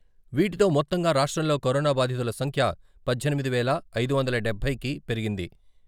వీటితో మొత్తంగా రాష్ట్రంలో కరోనా బాధితుల సంఖ్య పద్దెనిమిది వేల ఐదు వందల డబ్బై కి పెరిగింది.